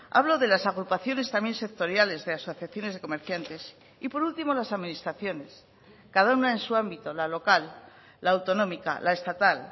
hablo de las agrupaciones también sectoriales de asociaciones de comerciantes y por último las administraciones cada una en su ámbito la local la autonómica la estatal